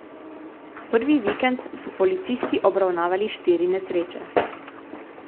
Prvi vikend so policisti obravnavali štiri nesreče.